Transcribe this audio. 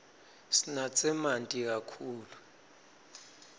sinatse manti kakhulu